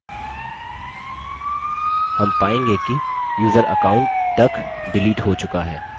हम पायेंगे कि यूज़र account duck डिलीट हो चुका है